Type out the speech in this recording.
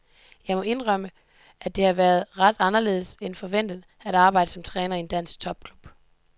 Jeg må indrømme, at det har været ret anderledes end forventet at arbejde som træner i en dansk topklub.